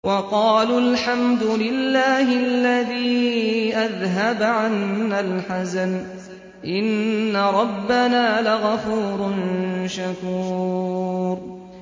وَقَالُوا الْحَمْدُ لِلَّهِ الَّذِي أَذْهَبَ عَنَّا الْحَزَنَ ۖ إِنَّ رَبَّنَا لَغَفُورٌ شَكُورٌ